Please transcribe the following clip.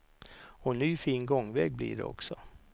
Och ny fin gångväg blir det också.